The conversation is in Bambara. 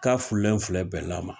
K'a furulen filɛ bɛla ma